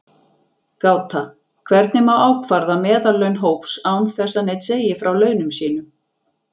Gáta: Hvernig má ákvarða meðallaun hóps án þess að neinn segi frá launum sínum?